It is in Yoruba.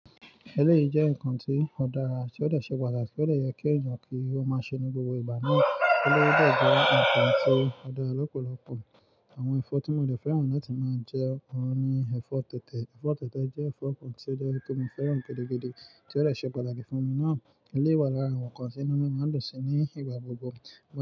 Ẹlẹ́yìí jẹ́ nǹkan tí ó dára, tí ó dè ṣe pàtàkì, ti o de yẹ kí èèyàn kí ó máa ṣe ní gbogbo ìgbà náà. Eleyii dè jẹ́ nǹkan tí ó dára lọ́pọ̀lọpọ̀. Àwọn ẹ̀fọ́ tí mo dè fẹ́ràn láti máa jẹ ọ̀ún ni ẹ̀fọ́ tẹ̀tẹ̀. Ẹ̀fọ́ tẹ̀tẹ̀ jẹ́ ẹ̀fọ́ kan tí ó jẹ́ kí mo fẹ́ràn gidi gidi tí ó de ṣe pàtàkì fún mi náà. Eleyii wà lára àwọn nǹkan tí inú mi máa ń dùn sí ní ìgbà gbogbo.